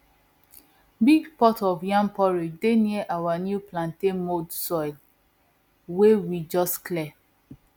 big pot of yam porridge dey near our new plantain mound soil wey we just clear